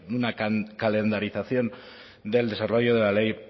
una calendarización del desarrollo de la ley